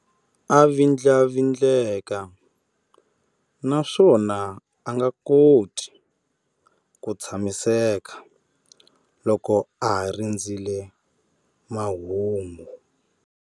A vindlavindleka naswona a nga koti ku tshamiseka loko a ha rindzerile mahungu.